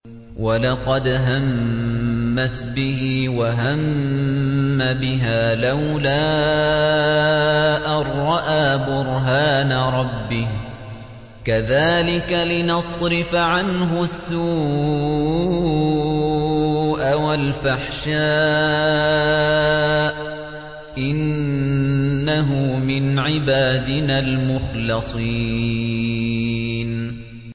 وَلَقَدْ هَمَّتْ بِهِ ۖ وَهَمَّ بِهَا لَوْلَا أَن رَّأَىٰ بُرْهَانَ رَبِّهِ ۚ كَذَٰلِكَ لِنَصْرِفَ عَنْهُ السُّوءَ وَالْفَحْشَاءَ ۚ إِنَّهُ مِنْ عِبَادِنَا الْمُخْلَصِينَ